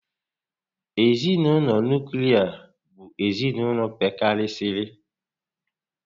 Ezinaụlọ nuklia bụ ezinaụlọ pekarịsịrị